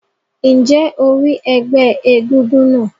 Ǹjẹ́ o rí ẹgbẹ́ egúngún náà?